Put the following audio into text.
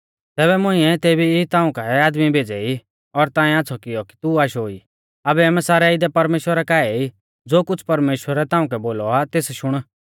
तैबै मुंइऐ तेबी ई ताऊं काऐ आदमी भेज़ै ई और ताऐं आच़्छ़ौ किऔ कि तू आशो ई आबै आमै सारै इदै परमेश्‍वरा काऐ ई ज़ो कुछ़ परमेश्‍वरै ताउंकै बोलौ आ तेस शुणु